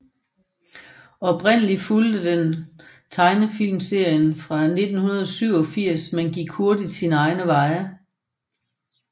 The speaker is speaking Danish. Oprindelig fulgte den tegnefilmserien fra 1987 men gik hurtigt sine egne veje